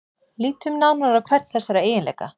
Lítum nánar á hvern þessara eiginleika.